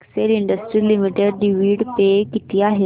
Excel industries limited dividend पे किती आहे